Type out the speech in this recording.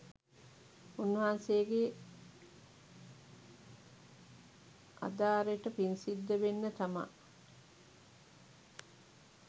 උන්වහන්සේගේ අදාරෙට පින්සිද්ද වෙන්න තමා